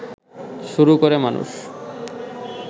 শুরু করে মানুষ